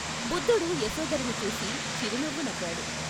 బుద్ధుడు యశోధరని చూసి చిరునవ్వు నవ్వాడు.